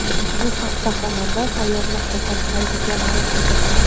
Bu haqda xonanda Sayyod.com saytiga ma’lum qildi .